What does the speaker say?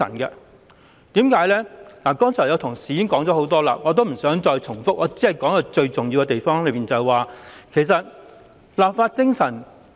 關於這一點，剛才已有同事詳細談論，我不想重複，只會討論箇中最重要之處，即立法精神。